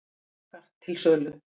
Hagar til sölu